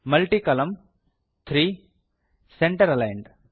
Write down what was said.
multi ಕಾಲಮ್ನ three centre aligned